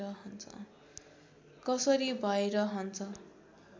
कसरी भैरहन्छ